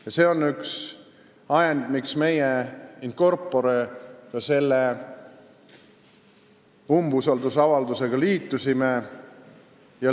Ja see on üks ajend, miks meie in corpore selle umbusaldusavaldusega liitusime.